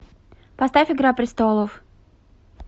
поставь игра престолов